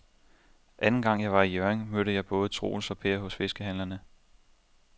Anden gang jeg var i Hjørring, mødte jeg både Troels og Per hos fiskehandlerne.